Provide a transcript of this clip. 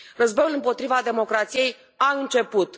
Războiul împotriva democrației a început.